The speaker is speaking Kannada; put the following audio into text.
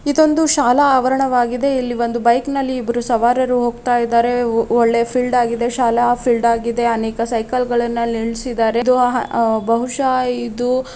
ಇದೊಂದು ಶಾಲಾ ಆವರಣವಾಗಿದೆ ಇಲ್ಲಿ ಒಂದು ಬೈಕಿ ನಲ್ಲಿ ಇಬ್ಬರು ಸವಾರರು ಹೋಗ್ತಾ ಇದ್ದಾರೆ ಓ ಒಳ್ಳೆಯ ಫೀಲ್ಡ್ ಆಗಿದೆ ಶಾಲಾ ಫೀಲ್ಡ್ ಆಗಿದೆ ಅನೇಕ ಸೈಕಲ್ಗ ಳನ್ನು ಅಲ್ಲಿ ನಿಲ್ಸಿದ್ದಾರೆ ಇದು ಆಹ್ಹ್ ಬಹುಶ ಇದು --